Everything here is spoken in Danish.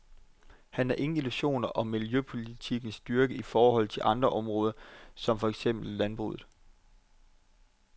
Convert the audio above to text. Han har ingen illusioner om miljøpolitikkens styrke i forhold til andre områder som for eksempel landbruget.